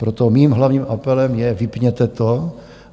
Proto mým hlavním apelem je: vypněte to.